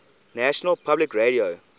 national public radio